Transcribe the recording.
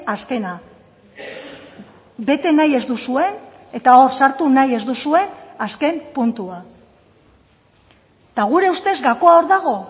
azkena bete nahi ez duzue eta hor sartu nahi ez duzue azken puntua eta gure ustez gakoa hor dago